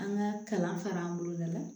An ka kalan fara an boloda la